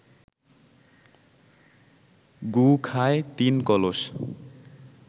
গু খায় তিন কলস